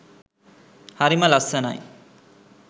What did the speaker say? හරිම ලස්සනයි.